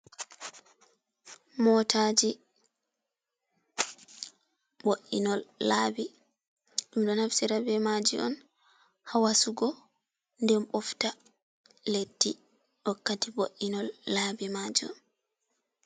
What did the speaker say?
Motaaji bo’inol laabi. Ɗum ɗo naftira be maaji on haa wasugo, nden ɓofta leddi wakkati bo’inol laabi maajum.